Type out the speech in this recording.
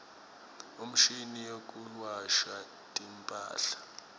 imshini yekuwasha timphahla